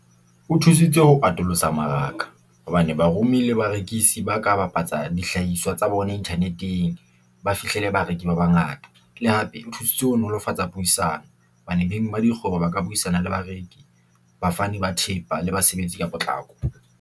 O thusitse ho atolosa tsa maraka hobane baromi le barekisi ba ka bapatsa dihlahiswa tsa bona internet-eng, ba fihlele bareki ba bangata le hape. Thusitse ho nolofatsa puisano hobane beng ba dikgwebo ba ka buisana le bareki, bafani ba thepa le basebetsi ka potlako.